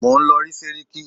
Mò ń lọ rí sẹ́ríkí.